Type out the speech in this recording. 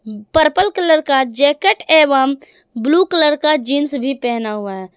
Purple colour का jacket एवं blue colour का जींस भी पहना हुआ है।